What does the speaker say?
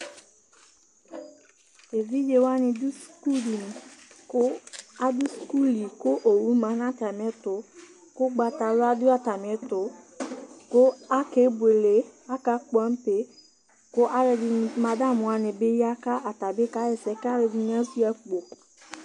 evidzewani dʋ sukudini, kʋ adʋ sukuli kʋ owʋ manʋ atami ɛtʋ kʋ ʋgbatawka dʋ atami ɛtʋ kʋ akebʋele, akakpɔ ampe, kʋ madmaʋ wani bi ya kʋ atabi kaxaɛsɛ kʋ alʋɛdini asuia akpo